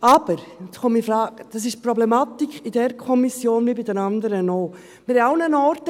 Aber nun komme ich zu einer Problematik, die für diese Kommission wie für die anderen Kommissionen gilt: